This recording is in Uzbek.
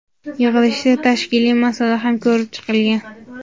yig‘ilishda tashkiliy masala ham ko‘rib chiqilgan.